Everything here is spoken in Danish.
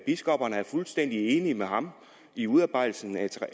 biskopperne er fuldstændig enige med ham i udarbejdelsen af